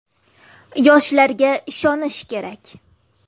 Yoshlarga ishonish kerak.